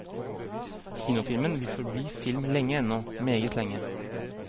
Kinofilmen vil forbli film lenge ennå, meget lenge.